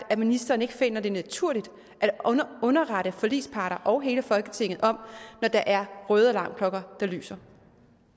at ministeren ikke finder det naturligt at underrette forligsparter og hele folketinget når der er røde alarmklokker der lyser